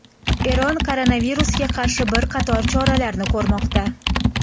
Eron koronavirusga qarshi bir qator choralarni ko‘rmoqda.